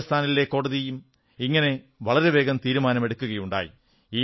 രാജസ്ഥാനിലെ കോടതിയും ഇങ്ങനെ വളരെ വേഗം തീരുമാനം എടുക്കുകയുണ്ടായി